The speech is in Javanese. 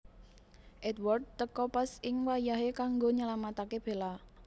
Edward teka pas ing wayahé kanggo nylamataké Bella